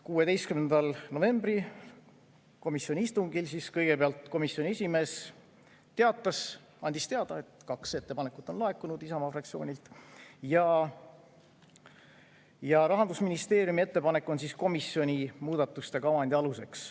16. novembri komisjoni istungil kõigepealt komisjoni esimees andis teada, et kaks ettepanekut on laekunud Isamaa fraktsioonilt, ja Rahandusministeeriumi ettepanek on komisjoni muudatuste kavandi aluseks.